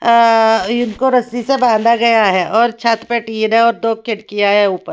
अ इनको रस्सी से बांधा गया है और छत पे टीन हैं और दो खिड़कियां है ऊपर।